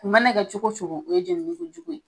U mana kɛ cogo cogo o ye jenini ko jugu ye